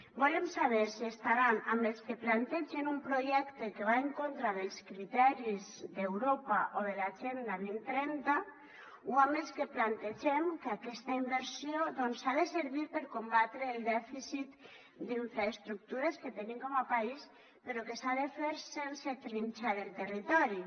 volem saber si estaran amb els que plantegen un projecte que va en contra dels criteris d’europa o de l’agenda dos mil trenta o amb els que plantegem que aquesta inversió doncs ha de servir per combatre el dèficit d’infraestructures que tenim com a país però que s’ha de fer sense trinxar el territori